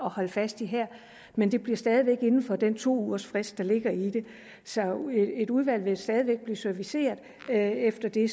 holde fast i her men det bliver stadig væk inden for den to ugers frist der ligger i det så et udvalg vil stadig væk bliver serviceret efter det